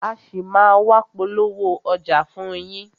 A ṣì máa a wá polówó ọjà wa fún yín.